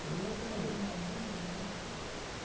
Foi engraçado. Você está trabalhando agora assim?